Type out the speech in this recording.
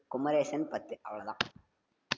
குமரேசன் பத்து, அவ்வளவுதான்.